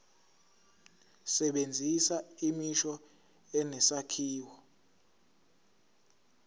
sebenzisa imisho enesakhiwo